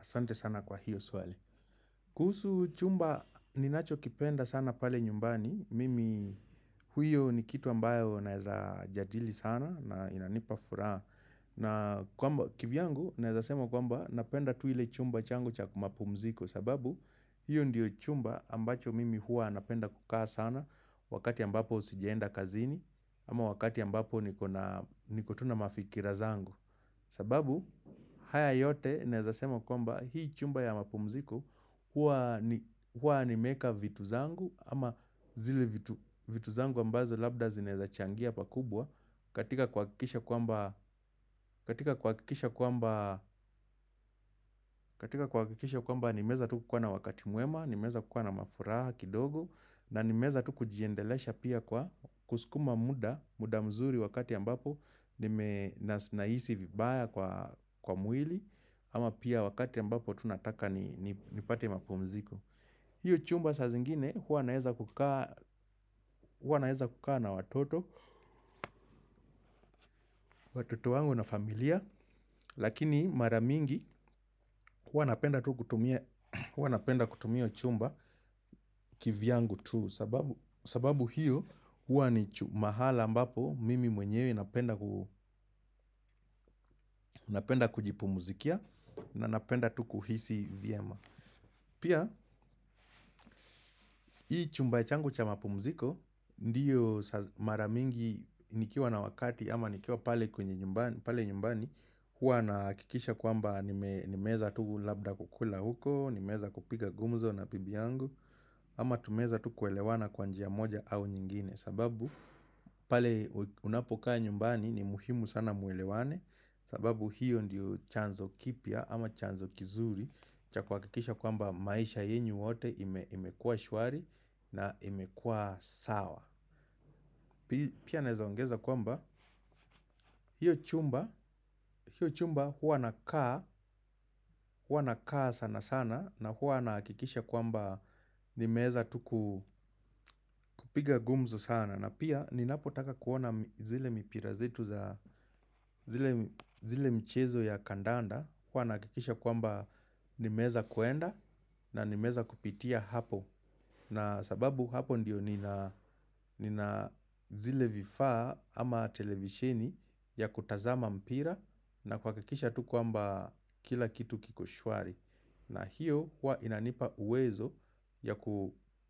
ASante sana kwa hiyo swali. Kuhusu chumba ninachokipenda sana pale nyumbani, mimi huyo ni kitu ambayo naeza jadili sana na inanipa furaha. Kivyangu naeza sema kwamba napenda tu ile chumba changu cha mapumziko sababu hiyo ndiyo chumba ambacho mimi huwa napenda kukaa sana wakati ambapo sijaenda kazini ama wakati ambapo niko tu na mafikira zangu. Sababu haya yote naeza sema kwamba hii chumba ya mapumziko huwa nimeeka vitu zangu ama zile vitu zangu ambazo labda zinaeza changia pakubwa katika kuhakikisha kwamba nimeeza tu kukuwa na wakati mwema, nimeeza kukuwa na mafuraha kidogo na nimeeza tu kujiendelesha pia kwa kuskuma muda mzuri wakati ambapo nime nahisi vibaya kwa mwili. Ama pia wakati ambapo tu nataka nipate mapumziko. Hiyo chumba sa zingine huwa naeza kukaa na watoto. Watoto wangu na familia. Lakini mara mingi huwa napenda kutumia hiyo chumba kivyangu tu. Sababu hiyo huwa ni mahali ambapo mimi mwenyewe napenda kujipumzikia. Na napenda kuhisi vyema. Pia, hii chumba changu cha mapumziko, ndiyo mara mingi nikiwa na wakati ama nikiwa pale kwenye nyumbani, huwa nahakikisha kwamba nimeeza tu labda kukula huko, nimeeza kupiga gumzo na bibi yangu, ama tumeeza tu kuelewana kwa njia moja au nyingine. Sababu pale unapokaa nyumbani ni muhimu sana muelewane. Sababu hiyo ndiyo chanzo kipya ama chanzo kizuri cha kuhakikisha kwamba maisha yenyu wote imekua shwari na imekua sawa. Pia naeza ongeza kwamba hiyo chumba huwa nakaa sana sana. Na huwa nahakikisha kwamba nimeeza tu kupiga gumzo sana. Na pia ninapotaka kuona zile mchezo ya kandanda huwa nahakikisha kwamba nimeeza kwenda na nimeeza kupitia apo na sababu apo ndo nina zile vifaa ama televisheni ya kutazama mpira na kuhakikisha kwamba kila kitu kiko shwari na iyo huwa inanipa uwezo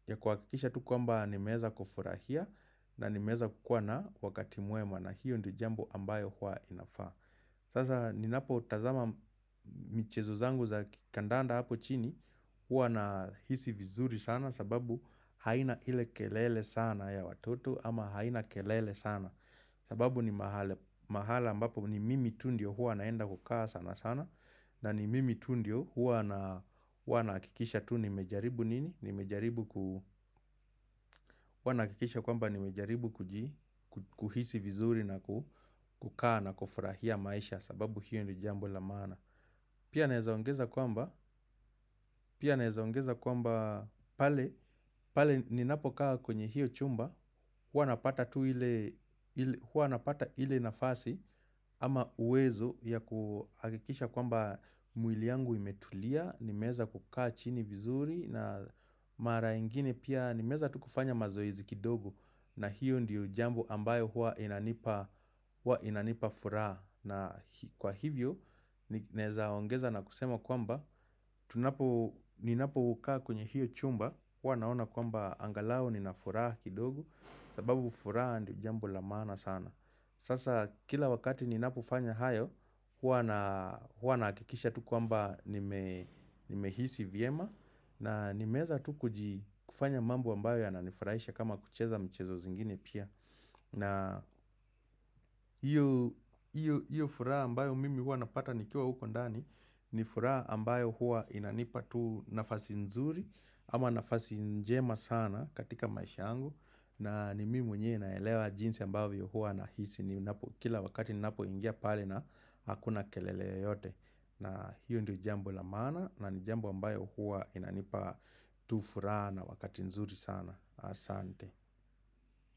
ya kuhakikisha tu kwamba nimeeza kufurahia. Na nimeeza kukuwa na wakati mwema na hiyo ndo jambo ambayo huwa inafaa. Sasa ninapo tazama mchezo zangu za kandanda hapo chini. Huwa nahisi vizuri sana sababu haina ile kelele sana ya watoto ama haina kelele sana. Sababu ni mahali ambapo ni mimi tu ndio huwa naenda kukaa sana sana. Na ni mimi tu ndio huwa nahakikisha tu nimejaribu nini huwa nahakikisha kwamba nimejaribu kuhisi vizuri na kukaa na kufurahia maisha sababu hiyo ni jambo la maana. Pia naeza ongeza kwamba pale ninapokaa kwenye hiyo chumba huwa napata ile nafasi ama uwezo ya kuhakikisha kwamba mwili yangu imetulia nimeeza kukaa chini vizuri na mara ingine pia nimeeza tu kufanya mazoezi kidogo na hiyo ndiyo jambo ambayo huwa inanipa furaha na kwa hivyo naeza ongeza na kusema kwamba ninapokaa kwenye hiyo chumba huwa naona kwamba angalau nina furaha kidogo sababu furaha ndiyo jambo la maana sana sasa kila wakati ninapofanya hayo huwa nahakikisha kwamba nimehisi vyema. Na nimeeza tu kufanya mambo ambayo yananifurahisha kama kucheza mchezo zingine pia. Na iyo furaha ambayo mimi huwa napata nikiwa huko ndani. Ni furaha ambayo huwa inanipa tu nafasi nzuri ama nafasi njema sana katika maisha yangu. Na ni mimi mwenyewe naelewa jinsi ambavyo huwa nahisi. Kila wakati ninapoingia pale na hakuna kelele yote. Na hiyo ndio jambo la maana na ni jambo ambayo huwa inanipa tu furaha na wakati nzuri sana. Asante.